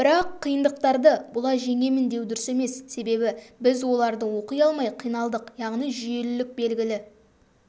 бірақ қиындықтарды бұлай жеңемін деу дұрыс емес себебі біз оларды оқи алмай қиналдық яғни жүйелілік белгілі